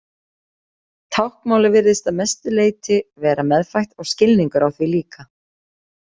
Táknmálið virðist að mestu leyti vera meðfætt og skilningur á því líka.